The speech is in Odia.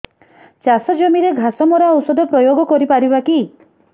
ଚାଷ ଜମିରେ ଘାସ ମରା ଔଷଧ ପ୍ରୟୋଗ କରି ପାରିବା କି